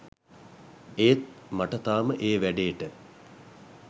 ඒත් මට තාම ඒ වැඩේට